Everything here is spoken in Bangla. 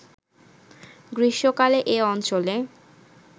গ্রীষ্মকালে এ অঞ্চলে